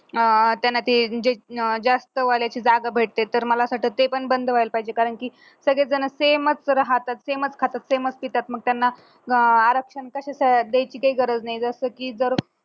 अं त्यांना अं ती जास्त वाल्याची जागा भेटते तर मला असं वाटतं की ते पण बंद व्हायला पाहिजे कारण की सगळेच जन same च राहतात same च खातात same च पितात मग त्यांना आरक्षण कशाचं द्यायची काय गरज नाही जसं की